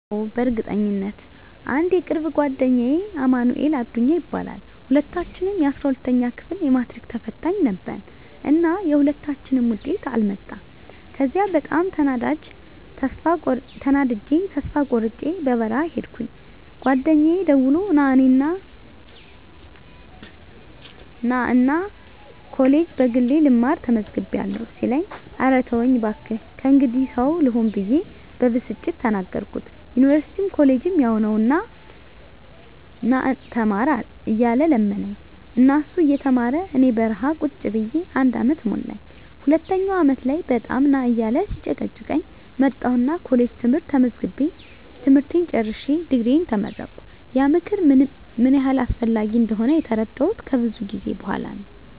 አዎ፣ በእርግጠኝነት! *አንድ የቅርብ ጓደኛዬ አማንኤል አዱኛ ይባላል፦ *ሁለታችንም የ12ኛ ክፍል የማትሪክ ተፈታኝ ነበርን እና የሁለታችንም ውጤት አልመጣም ከዚያ በጣም ተናድጀ ተስፋ ቆርጨ በረሀ ሂድኩኝ ጓደኛየ ደውሎ ና እኔ ኮሌጅ በግሌ ልማር ተመዝግቢያለሁ ሲለኝ እረ ተወኝ ባክህ ከእንግዲህ ሰው ልሆን ብየ በብስጭት ተናገርኩት ዩኒቨርስቲም ኮሌጅም ያው ነው ና ተማር እያለ ለመነኝ እና እሱ እየተማረ እኔ በረሀ ቁጭ ብየ አንድ አመት ሞላኝ ሁለተኛው አመት ላይ በጣም ና እያለ ሲጨቀጭቀኝ መጣሁና ኮሌጅ ትምህርት ተመዝግቤ ትምህርቴን ጨርሸ ድግሪየን ተመረቀሁ። *ያ ምክር ምን ያህል አስፈላጊ እንደሆነ የተረዳሁት ከብዙ ጊዜ በኋላ ነው።